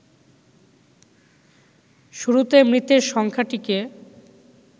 শুরুতে মৃতের সংখ্যাটিকে